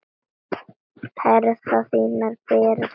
Herðar þínar bera það uppi.